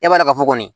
E b'a dɔn ka fɔ kɔni